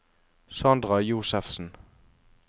Sandra Josefsen